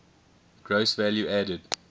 gross value added